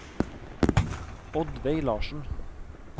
Oddveig Larssen